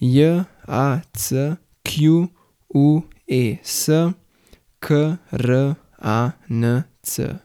J A C Q U E S, K R A N C.